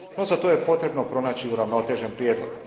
No, za to je potrebno pronaći uravnotežen prijedlog.